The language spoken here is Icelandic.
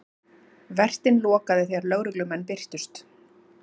Vertinn lokaði þegar lögreglumenn birtust